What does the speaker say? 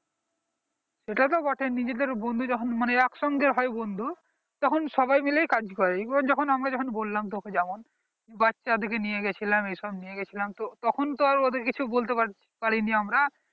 তা তো বটেই মানে নিজেদের বন্ধু যখন একসঙ্গে হয় বন্ধু সবাই মিলে কাজ করে এইবার আমরা যখন বললাম তোকে যেমন বাচ্চাদের দিকে নিয়ে গেছিলাম এসেছিলাম ভেবেছিলাম তখন তো আর ওদের কিছু বলতে পারিনি আমরা